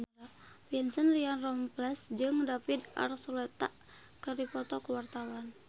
Vincent Ryan Rompies jeung David Archuletta keur dipoto ku wartawan